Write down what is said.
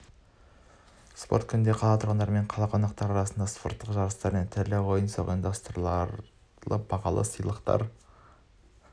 спорт күнінде қала тұрғындары мен қала қонақтары арасында спорттық жарыстар мен түрлі ойын-сауықтар ұйымдастырылып бағалы сыйлықтар